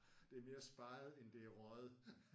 Det er mere speget end det er røget